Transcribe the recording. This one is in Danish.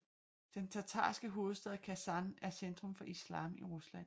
Den tatarske hovedstad Kasan er centrum for islam i Rusland